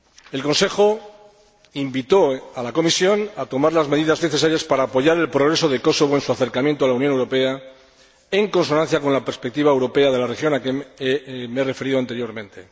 El Consejo invitó a la Comisión a tomar las medidas necesarias para apoyar el progreso de Kosovo en su acercamiento a la Unión Europea, en consonancia con la perspectiva europea de la región a que me he referido anteriormente.